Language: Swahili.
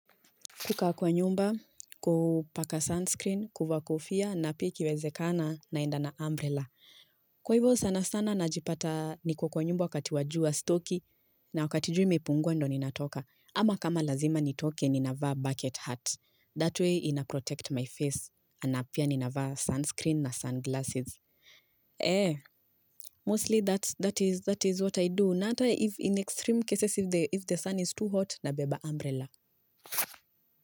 Kukaa kwa nyumba, kupaka sunscreen, kuvaa kofia, na pia ikiwezekana naenda na umbrella. Kwa hivyo sana sana najipata niko kwa nyumba wakati wa jua sitoki na wakati jua imepungua ndo ninatoka. Ama kama lazima nitoke, ninavaa bucket hat. That way, inaprotect my face. Na pia ninavaa sunscreen na sunglasses. Eh, mostly that is what I do. Na hata, in extreme cases, if the sun is too hot, nabeba umbrella.